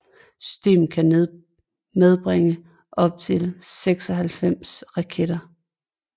Systemet kan medbringe op til 96 raketter